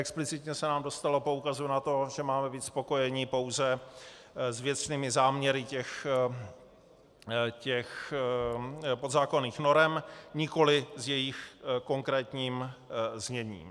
Explicitně se nám dostalo poukazu na to, že máme být spokojeni pouze s věcnými záměry těch podzákonných norem, nikoli s jejich konkrétním zněním.